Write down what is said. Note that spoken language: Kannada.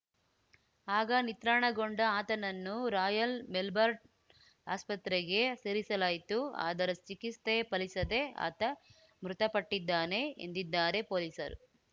ಆಗ ನಿತ್ರಾಣಗೊಂಡ ಆತನನ್ನು ರಾಯಲ್‌ ಮೆಲ್ಬರ್ನ್‌ ಆಸ್ಪತ್ರೆಗೆ ಸೇರಿಸಲಾಯಿತು ಆದರೆ ಚಿಕಿತ್ಸೆ ಫಲಿಸದೆ ಆತ ಮೃತಪಟ್ಟಿದ್ದಾನೆ ಎಂದಿದ್ದಾರೆ ಪೊಲೀಸರು